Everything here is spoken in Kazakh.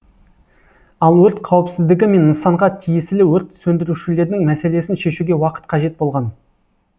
ал өрт қауіпсіздігі мен нысанға тиесілі өрт сөндірушілердің мәселесін шешуге уақыт қажет болған